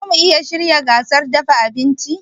Zamu iya shirya gasar dafa abinci?